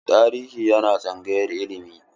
Tarihi yana tsangayar ilimi.